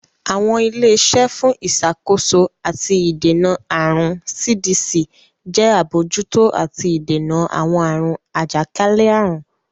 Awọn ile-iṣẹ fún Ìṣàkóso ati Ìdènà Àrùn (CDC) ṣe abojuto àti ìdènà awọn àrùn ajakalẹ-àrun.